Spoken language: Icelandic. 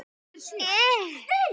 Túlkun þeirra eigi ekki við.